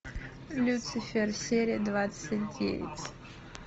люцифер серия двадцать девять